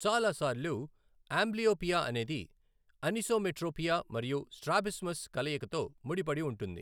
చాలా సార్లు, అంబ్లియోపియా అనేది అనిసోమెట్రోపియా మరియు స్ట్రాబిస్మస్ కలయికతో ముడిపడి ఉంటుంది.